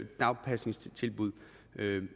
dagpasningstilbud